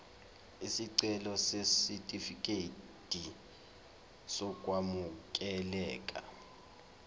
isicelo sesitifikedi sokwamukeleka